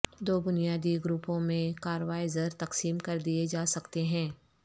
دو بنیادی گروپوں میں کاروائزر تقسیم کردیئے جا سکتے ہیں